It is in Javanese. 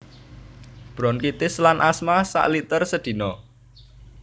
Bronkitis lan asma sakliter sedina